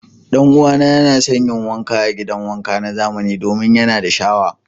Dan'uwana yana son yin wanka a gidan wanka na zamani domin yana da shawa.